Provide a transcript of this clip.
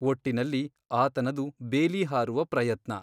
ಒಟ್ಟಿನಲ್ಲಿ ಆತನದು ಬೇಲೀ ಹಾರುವ ಪ್ರಯತ್ನ.